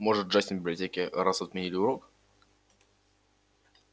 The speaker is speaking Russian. может джастин в библиотеке раз отменили урок